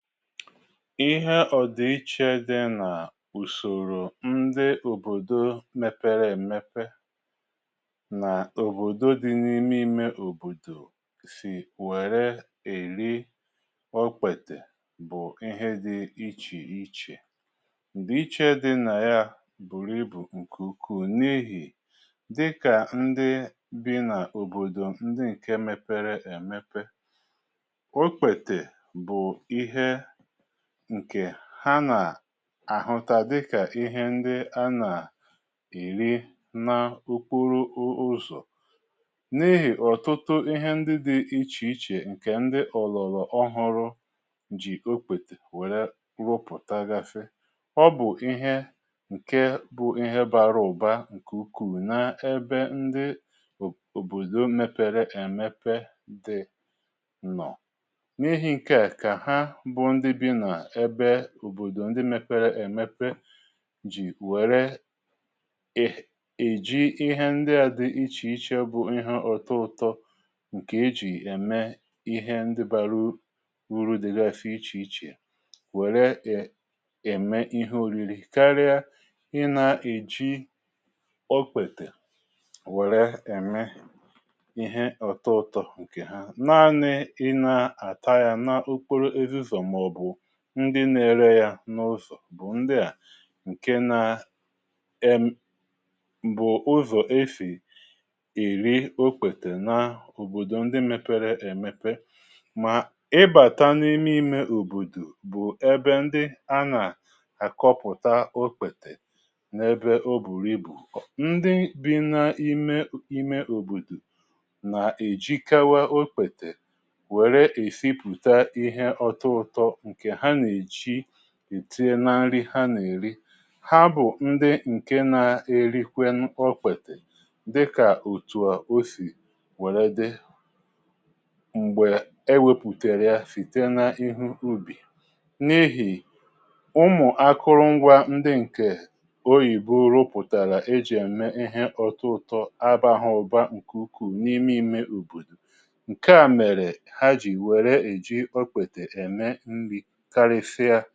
Ịhe ọ̀dị iche dị nà ùsòrò ndị òbòdò mepere èmepe n’òbòdò dị n’ime ime òbòdò sì wère èri okpètè bụ̀ ihe dị ichè ichè. Ndị iche dị nà ya bùrù ibù ǹkwu ukwu n’ihì dịkà ndị bi n’òbòdò ndị ǹke mepere èmepe, okpètè bụ ihe ǹkè ha nà-àhụta dịkà ihe ndị a nà-èri n’okporo ụzọ̀. N’ihì ọ̀tụtụ ihe ndị dị ichè ichè ǹkè ndị ọ̀lọ̀lọ̀ ọhọrọ ji okpète wère rụpụ̀ta gasi, ọ bụ̀ ihe ǹke bụ ihe bara ụ̀ba ǹkè ukwu na-ebe ndị òbòdò mepere èmepe dị nọ̀. N'ihi nkea ka ha bụ ndị bi na ebe obòdò ndi mepere èmepe ji wère um eji ihe ndi àdị ichè ichè bụ ihẹ ọtọ ụtọ ǹkè ejì ème ihe ndi bara uru dịgasi ichè ichè wère i eme ihe oriri karịa ị na-eji okpètè wère eme ihe ọtọ ụtọ ǹkè ha, naanị ina ata ya na okporo ezi ụzọ màọbụ̀ ndị na-ere yȧ n’ụzọ̀ bụ̀ ndị à ǹke na m bụ̀ ụzọ̀ esi eri okpètè n’òbòdò ndị mepere èmepe mà ị bàta n’ime imė òbòdò bụ ebe ndị a nà-àkọpụ̀ta okpètè n’ebe o bùrù ibù. Ndị bi̇ na-ime imė òbòdò nà-èjikawa okpètè wère esipụ̀ta ihe ọtọ ụtọ nke ha na eji etinye na nri ha nà-èri, ha bụ̀ ndị ǹke nȧ-ėrikwẹ ọkpètè dịkà òtùọ̀ osì wère dị. M̀gbè e wepùtèrè ya sì tee n’ihu ubì n’ihì ụmụ̀ akụrụngwa ndị ǹkè oyìbo rupụ̀tàrà ejì ème ihe ọtụtụ abaghị ụ̀ba ǹkè ukwuu n’ime ime ùbòdò ǹke à mèrè ha jì wère èji ọkpètè eme nri karịsịa.